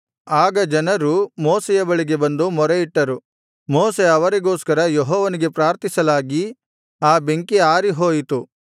ಆಗ ಜನರು ಮೋಶೆಯ ಬಳಿಗೆ ಬಂದು ಮೊರೆಯಿಟ್ಟರು ಮೋಶೆ ಅವರಿಗೋಸ್ಕರ ಯೆಹೋವನಿಗೆ ಪ್ರಾರ್ಥಿಸಲಾಗಿ ಆ ಬೆಂಕಿ ಆರಿಹೋಯಿತು